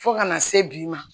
Fo kana se bi ma